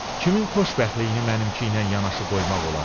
Kimin xoşbəxtliyini mənimki ilə yanaşı qoymaq olar?